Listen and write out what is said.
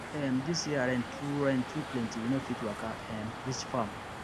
um this year rain too rain too plenty we no fit waka um reach farm